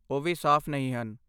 ਉਹ ਵੀ ਸਾਫ਼ ਨਹੀਂ ਹਨ।